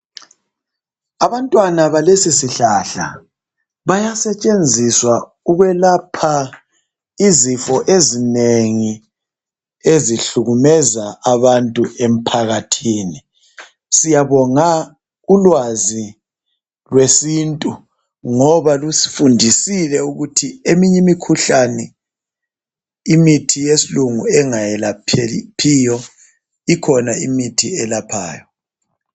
Abantwana balesisihlahla bayasetshenziswa ukwelapha izifo ezinengi ezihlukumeza abantu emphakathini. Siyabona ulwazi lwesintu ngoba lusifundisile ukuthi eminye imikhuhlane imithi yesilungu engayelaphiyo ikhona imithi eyelaphayo.